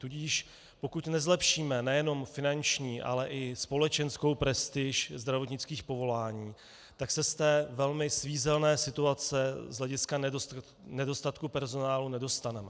Tudíž pokud nezlepšíme nejenom finanční, ale i společenskou prestiž zdravotnických povolání, tak se z té velmi svízelné situace z hlediska nedostatku personálu nedostaneme.